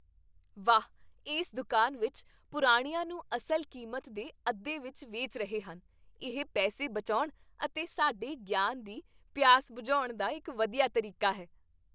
ਵਾਹ! ਇਸ ਦੁਕਾਨ ਵਿੱਚ ਪੁਰਾਣੀਆਂ ਨੂੰ ਅਸਲ ਕੀਮਤ ਦੇ ਅੱਧੇ ਵਿੱਚ ਵੇਚ ਰਹੇ ਹਨ। ਇਹ ਪੈਸੇ ਬਚਾਉਣ ਅਤੇ ਸਾਡੇ ਗਿਆਨ ਦੀ ਪਿਆਸ ਬੁਝਾਉਣ ਦਾ ਇੱਕ ਵਧੀਆ ਤਰੀਕਾ ਹੈ।